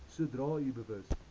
sodra u bewus